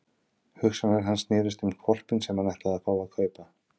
Hugsanir hans snerust um hvolpinn sem hann ætlaði að fá að kaupa.